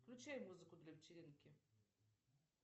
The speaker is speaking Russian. включай музыку для вечеринки